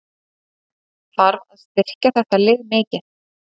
Þarf að styrkja þetta lið mikið?